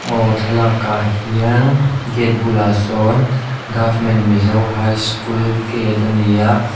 aw thlalak ah hiannn gate bulah sawn government mizo high school gate ani a.